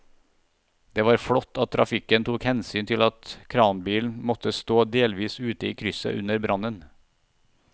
Det var flott at trafikken tok hensyn til at kranbilen måtte stå delvis ute i krysset under brannen.